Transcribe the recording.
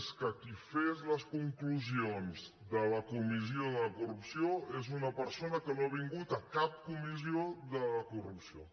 és que qui fes les conclusions de la comissió de la corrupció és una persona que no ha vingut a cap comissió de la corrupció